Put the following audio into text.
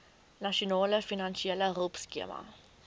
nasionale finansiële hulpskema